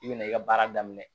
I bina i ka baara daminɛ